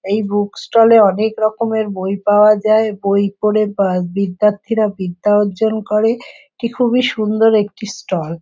এই book stall -এ অনেক রকমের বই পাওয়া যায় | বই পড়ে বা বিদ্যাথীরা বিদ্যা অর্জন করে | এটি খুবই সুন্দর একটি স্টল ।